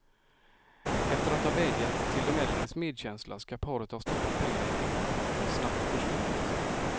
Efter att ha vädjat till de äldres medkänsla skall paret ha stoppat pengarna i fickorna och snabbt försvunnit.